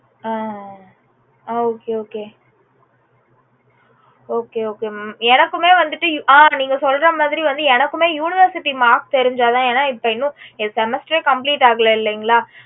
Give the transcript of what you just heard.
ஆஹ் okay okay okay okay mam எனக்கும் வந்துட்டு அஹ் நீங்க சொல்றமாதிரி வந்து எனக்குமே வந்து university marks தெரிஞ்ச தான் இன்னும் எனக்கு semester complete ஆகல இல்லங்களா